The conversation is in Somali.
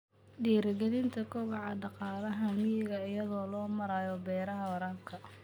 Dhiirigelinta kobaca dhaqaalaha miyiga iyadoo loo marayo beeraha waraabka.